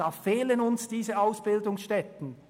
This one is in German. Hier fehlt es an Ausbildungsstätten!